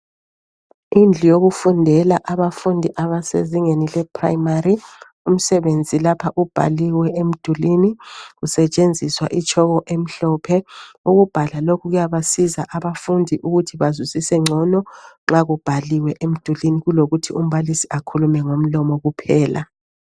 Indlu yokufundela abafundi abasezingeni lephurayimari umsebenzi lapha ubhaliwe emdulini kusetshenziswa itshoko emhlophe, ukubhala lokhu kuyabasiza abafundi ukuthi bazwisise ngcono nxa kubhaliwe emdulini kulokuthi umbalisi akhulume ngomlomo kuphela.